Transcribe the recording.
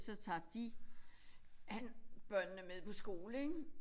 Så tager de han børnene med på skole ik